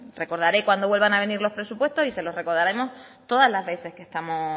recordaré cuando vuelvan a venir los presupuestos y se lo recordaremos todas las veces que estamos